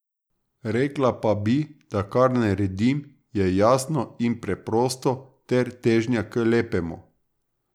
Rekla pa bi, da kar naredim, je jasno in preprosto ter težnja k lepemu.